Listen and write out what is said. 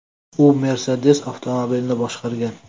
U Mercedes avtomobilini boshqargan.